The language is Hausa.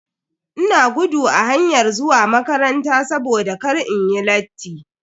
Ina gudu a hayar zuwa makaranta saboda kar inyi latti.